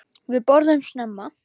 Við borðum snemma.